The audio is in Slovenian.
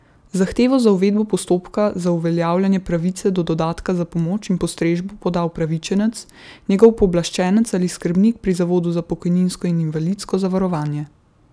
Zahtevo za uvedbo postopka za uveljavljanje pravice do dodatka za pomoč in postrežbo poda upravičenec, njegov pooblaščenec ali skrbnik pri zavodu za pokojninsko in invalidsko zavarovanje.